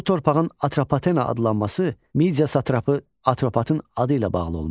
Bu torpağın Atropatena adlanması Midia satrapı Atropatın adı ilə bağlı olmuşdur.